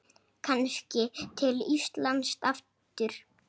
Kannski til Íslands aftur?